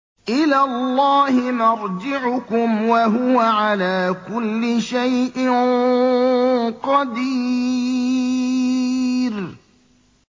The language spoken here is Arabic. إِلَى اللَّهِ مَرْجِعُكُمْ ۖ وَهُوَ عَلَىٰ كُلِّ شَيْءٍ قَدِيرٌ